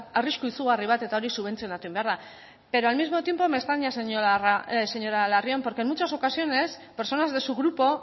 arrisku izugarri bat eta hori subentzionatu egin behar da pero al mismo tiempo me extraña señora larrion porque en muchas ocasiones personas de su grupo